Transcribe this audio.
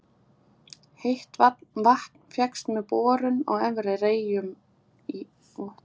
Heitt vatn fékkst með borun á Efri-Reykjum í